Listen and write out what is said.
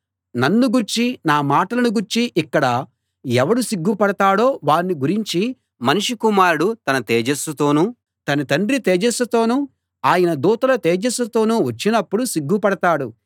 నన్ను గూర్చీ నా మాటలను గూర్చీ ఇక్కడ ఎవడు సిగ్గుపడతాడో వాణ్ణి గురించి మనుష్య కుమారుడు తన తేజస్సుతోనూ తన తండ్రి తేజస్సుతోనూ ఆయన దూతల తేజస్సుతోనూ వచ్చినప్పుడు సిగ్గుపడతాడు